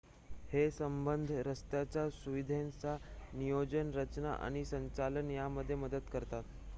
हे संबंध रस्त्याच्य सुविधांच्या नियोजन रचना आणि संचालन यामध्ये मदत करतात